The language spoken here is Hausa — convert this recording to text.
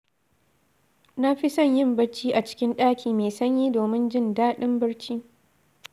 Na fi son yin bacci a cikin ɗaki mai sanyi domin jin daɗin barci.